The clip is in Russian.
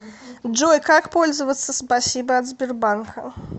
джой как пользоваться спасибо от сбербанка